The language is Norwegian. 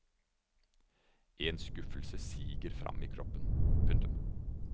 En skuffelse siger fram i kroppen. punktum